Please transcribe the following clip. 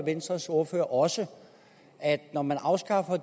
venstres ordfører også at når man afskaffer